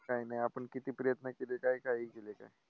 काय नाही, आपण किती प्रयत्न केले काय काही केले काय.